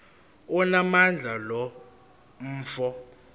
onamandla lo mfo